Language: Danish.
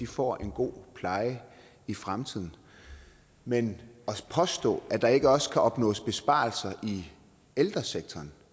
får en god pleje i fremtiden men at påstå at der ikke også kan opnås besparelser i ældresektoren